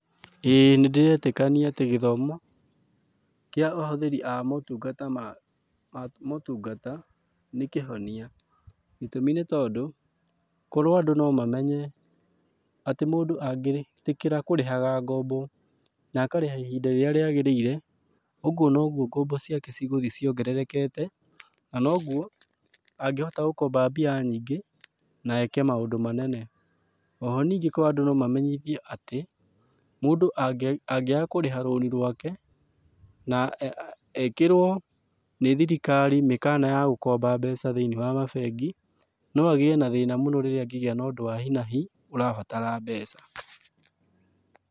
Ĩĩ nĩndĩretĩkania atĩ gĩthomo, kĩa ahũthĩri a motungata ma, a motungata, nĩkĩhonia. Gĩtũmi nĩtondũ, korwo andũ no mamenye atĩ mũndũ angĩtĩkĩra kũrĩhaga ngombo na akarĩha ihinda rĩrĩa rĩagĩrĩire, ũguo noguo ngombo ciake cigũthiĩ ciongererekete, na noguo angĩhota gũkomba mbia nyingĩ, na eke maundũ manene. Oho ningĩ korwo andũ no mamenyithio atĩ, mũndũ angĩaga kũrĩha rũni rwake, na ekĩrwo nĩ thirikari mĩkana ya gũkomba mbeca thĩiniĩ wa mabengi, no agĩe na thĩna mũno rĩrĩa angĩgĩa na ũndũ wa hi na hi, ũrabatara mbeca.